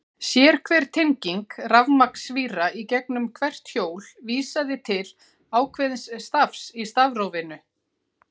Sérhver tenging rafmagnsvíra í gegnum hvert hjól vísaði til ákveðins stafs í stafrófinu.